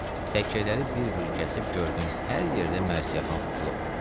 Təkyələri bir-bir gəzib gördüm, hər yerdə mərsiyəxan tutulub.